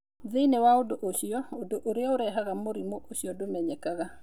Thĩinĩ wa andũ acio, ũndũ ũrĩa ũrehaga mũrimũ ũcio ndũmenyekaga.